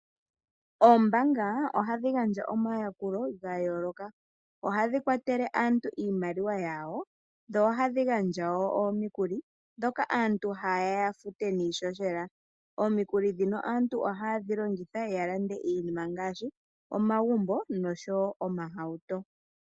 Oombaanga ohadhi gandja omayakulo gayooloka. Ohadhi kwatele aantu iimaliwa yawo dho ohadhi gandja wo omikuli ndhoka aantu ha yeya ya fute niihohela. Omikuli ndhino aantu ohaye dhi longitha ya lande iinima ngaashi, omagumbo noshowo omahauto.